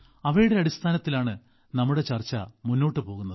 അവയുടെ അടിസ്ഥാനത്തിലാണ് നമ്മുടെ ചർച്ച മുന്നോട്ട് പോകുന്നത്